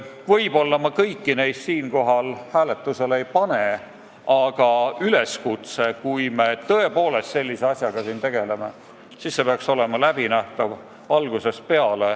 Võib-olla ma kõiki neid siin hääletusele ei pane, aga üleskutse on: kui me siin nii tähtsa asjaga tegeleme, siis peaks kõik olema läbinähtav algusest peale.